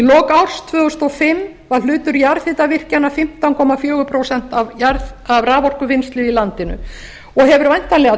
lok árs tvö þúsund og fimm var hlutur jarðhitavirkjana fimmtán komma fjögur prósent af raforkuvinnslu í landinu og hefur væntanlega